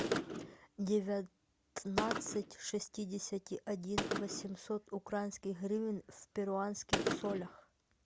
девятнадцать шестидесяти один восемьсот украинских гривен в перуанских солях